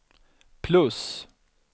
plus